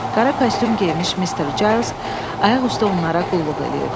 Qara kostyum geymiş Mister Cales ayaq üstə onlara qulluq eləyirdi.